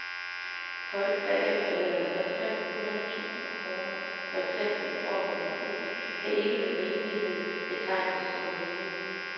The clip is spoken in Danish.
Folk, der efterlader sig fem hundrede tusind kroner, for eksempel i form af et hus, kan ikke med rimelighed betegnes som rige.